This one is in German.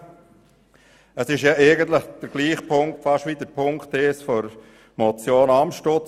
Eigentlich ist diese Ziffer die gleiche wie Ziffer 1 der Motion Amstutz.